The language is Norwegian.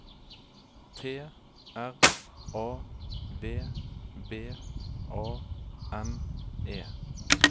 T R A V B A N E